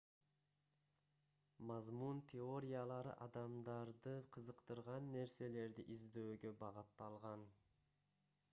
мазмун теориялары адамдарды кызыктырган нерселерди издөөгө багытталган